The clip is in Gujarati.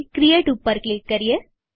ક્રિએટ ઉપર ક્લિક કરીએ